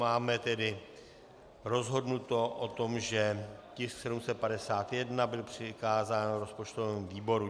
Máme tedy rozhodnuto o tom, že tisk 751 byl přikázán rozpočtovému výboru.